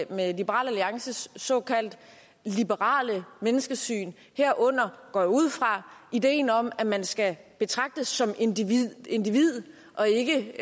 med liberal alliances såkaldte liberale menneskesyn herunder går jeg ud fra ideen om at man skal betragtes som individ individ og ikke